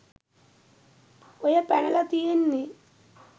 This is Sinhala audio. ඔය පැනල තියෙන්නෙ